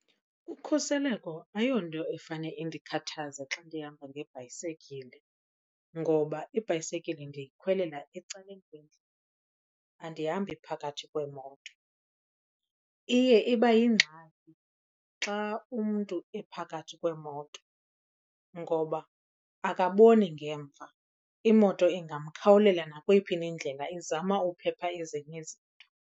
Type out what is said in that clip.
Ukhuseleko ayonto efane indikhathaza xa ndihamba ngebhayisekile ngoba ibhayisekile ndiyikhwelela ecaleni kwendlela, andihambi phakathi kweemoto. Iye iba yingxaki xa umntu ephakathi kweemoto ngoba akaboni ngemva, imoto ingamkhawulela nakweyiphi na indlela izama ukuphepha ezinye izinto.